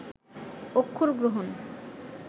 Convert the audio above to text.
অক্ষর গ্রহণ